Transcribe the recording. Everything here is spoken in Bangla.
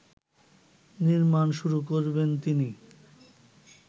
নির্মাণ শুরু করবেন তিনি